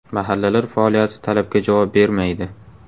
Mahallalar faoliyati talabga javob bermaydi.